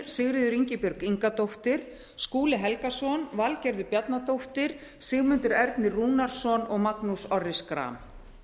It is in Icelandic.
sigríður ingibjörg ingadóttir skúli helgason valgerður bjarnadóttir sigmundur ernir rúnarsson og magnús orri schram